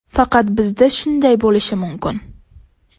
Faqat bizda shunday bo‘lishi mumkin.